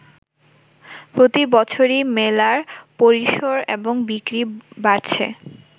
প্রতি বছরই মেলার পরিসর এবং বিক্রি বাড়ছে।